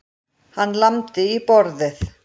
Hann lamdi í borðið.